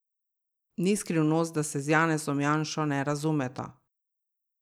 Ni skrivnost, da se z Janezom Janšo ne razumeta.